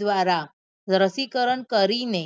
દ્વારા રસીકરણ કરી ને